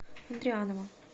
андрианова